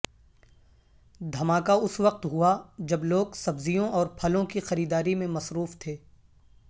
دھماکہ اس وقت ہوا جب لوگ سبزیوں اور پھلوں کی خریداری میں مصروف تھے